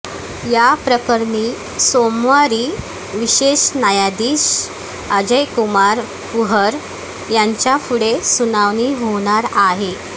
याप्रकरणी सोमवारी विशेष न्यायाधीश अजय कुमार कुहर यांच्यापुढे सुनावणी होणार आहे